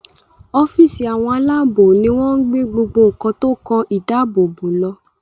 ọ́fíìsì Àwọn aláàbò ní wón gbé gbogbo nkán tó kán ìdáàbòbò ló.